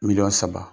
Miliyɔn saba